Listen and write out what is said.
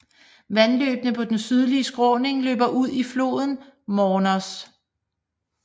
Vandløbene på den sydlige skråning løber ud i floden Mornos